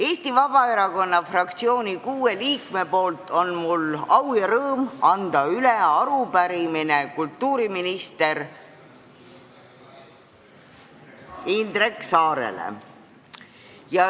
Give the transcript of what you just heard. Eesti Vabaerakonna fraktsiooni kuue liikme nimel on mul au ja rõõm anda üle arupärimine kultuuriminister Indrek Saarele.